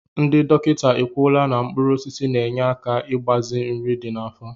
Ndị dọkịta ekwuola na mkpụrụosisi na-enye aka igbaze nri dị n'afọ